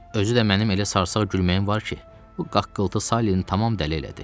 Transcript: Özü də mənim elə sarsaq gülməyim var ki, bu qaqqıltı Saliyəni tamam dəli elədi.